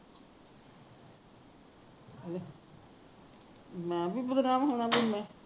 ਮੈ ਵੀ ਬਦਨਾਮ ਹੋਣਾ ਮੈ